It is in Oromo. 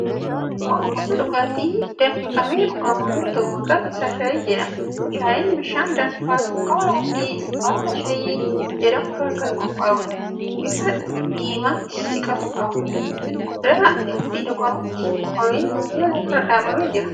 Kun gosa dhugaatii danfifamee dhugamu yoo ta'u, maqaan isaa shaayii jedhama. Shaayiin bishaan danfaa, sukkaaraa fi baala shaayii jedhamu irraa kan qophaa'uudha. Bifa diimaatti siqatu qaba. Qodaa itti dhugamutti buufamee minjaala irra dhaabamee jira.